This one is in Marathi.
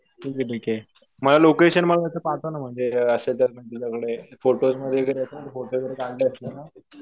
ठीक आहे ठीक आहे. मला लोकेशन मग नंतर पाठव ना म्हणजे असेल तर तुझ्याकडे. फोटोज वगैरे असेल. फोटो वगैरे काढले असेल ना.